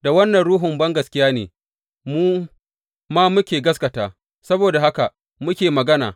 Da wannan ruhun bangaskiya ne mu ma muka gaskata, saboda haka muke magana.